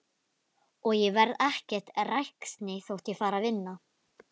Og ég verð ekkert ræksni þótt ég fari að vinna.